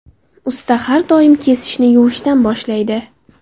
Usta har doim kesishni yuvishdan boshlaydi.